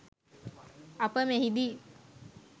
අප මෙහිදී